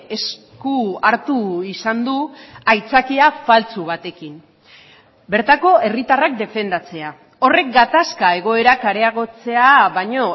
esku hartu izan du aitzakia faltsu batekin bertako herritarrak defendatzea horrek gatazka egoerak areagotzea baino